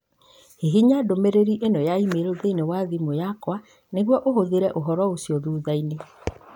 Hihinya ndũmĩrĩri ĩno ya e-mail thĩinĩ wa thimũ yakwa nĩguo ũhũthĩre ũhoro ũcio thutha-inĩ.